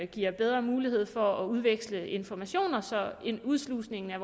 giver bedre mulighed for at udveksle informationer så en udslusning af